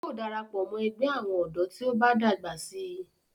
yóò darapọ̀ mọ́ ẹgbẹ́ àwọn ọ̀dọ́ tí ó bá dàgbà síi